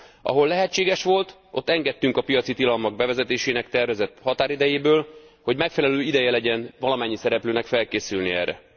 Ahol lehetséges volt, ott engedtünk a piaci tilalmak bevezetésének tervezett határidejéből, hogy megfelelő ideje legyen valamennyi szereplőnek felkészülni erre.